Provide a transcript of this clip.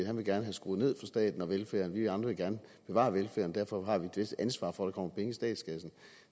han vil gerne have skruet ned for staten og velfærden vi andre vil gerne bevare velfærden derfor har vi et vist ansvar for at der kommer penge i statskassen